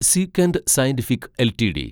സീക്വന്റ് Scientific LTD